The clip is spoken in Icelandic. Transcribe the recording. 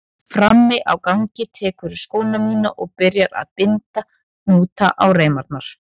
Frammi á gangi tekurðu skóna mína og byrjar að binda hnúta á reimarnar.